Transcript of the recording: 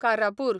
Karapur